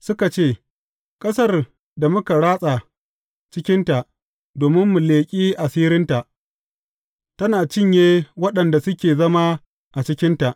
Suka ce, Ƙasar da muka ratsa cikinta domin mu leƙi asirinta, tana cinye waɗanda suke zama a cikinta.